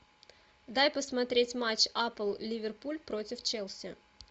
дай посмотреть матч апл ливерпуль против челси